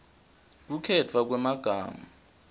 kukhetfwa kwemagama